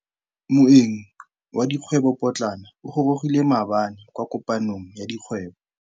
Moêng wa dikgwêbô pôtlana o gorogile maabane kwa kopanong ya dikgwêbô.